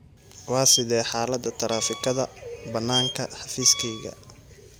Waa sidee xaalada taraafikada bannaanka xafiiskayga?